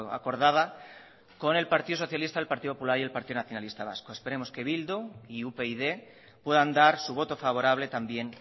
acordada con el partido socialista el partido popular y el partido nacionalista vasco esperemos que bildu y upyd puedan dar su voto favorable también